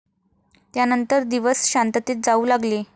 त्यानंतर दिवस शांततेत जाऊ लागले.